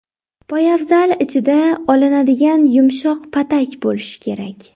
Poyabzal ichida olinadigan yumshoq patak bo‘lishi kerak.